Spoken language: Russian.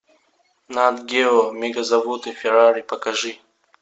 нат гео мегазаводы феррари покажи